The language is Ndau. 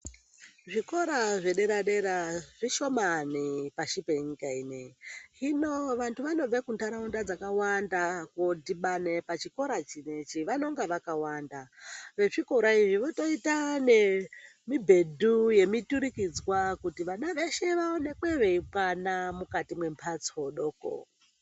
Zvikora zvedera dera zvishomani pashi penyika inei hinonvantu vanobve kuntaraunda dzakawanda kodhibane pachikora chinechi vanonga vakawanda, vezvikora iyoyo zvotoita nemibhedhu yemiturikidzwa kuti vana veshe vaonekwe veikwana mukati mwembatso doko.